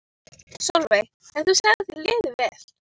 Sólveig: En þú segir að þér líði vel?